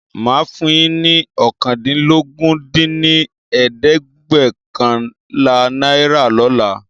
Máa fún yín ní oókàndínlógún dín ní ẹ̀ẹ́dẹ́gbẹ́ọ̀kànlá náírà lóla